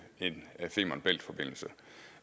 en femern bælt forbindelse